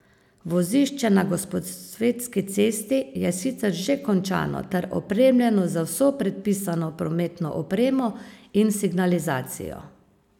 Vozišče na Gosposvetski cesti je sicer že končano ter opremljeno z vso predpisano prometno opremo in signalizacijo.